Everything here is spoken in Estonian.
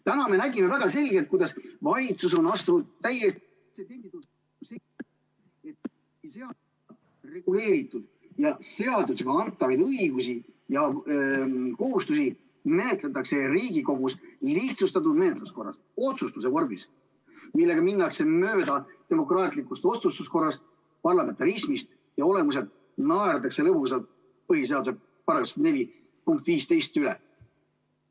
Täna me nägime väga selgelt, kuidas valitsus on ...... reguleeritud ja seadusega antavaid õigusi ja kohustusi menetletakse Riigikogus lihtsustatud menetluse korras, otsustuse vormis, minnes mööda demokraatlikust otsustuskorrast ja parlamentarismist ning naerdes lõbusalt põhiseaduse § 104 punkti 15 üle.